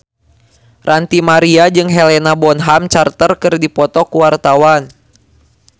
Ranty Maria jeung Helena Bonham Carter keur dipoto ku wartawan